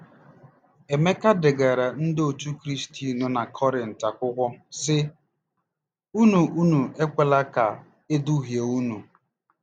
Emeka degaara Ndị Otú Kristi nọ na Kọrịnt akwụkwọ, sị: “ Unu Unu ekwela ka e duhie unu.